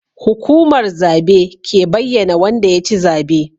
Hukumar zabe ke bayyAna Wanda yaci zabe